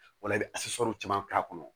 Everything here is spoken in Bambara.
Wala i bɛ caman k'a kɔnɔ